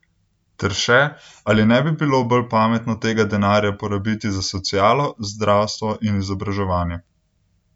Ter še, ali ne bi bilo bolj pametno tega denarja porabiti za socialo, zdravstvo in izobraževanje?